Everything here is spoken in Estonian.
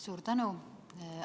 Suur tänu!